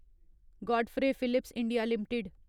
Godfrey Phillips India limited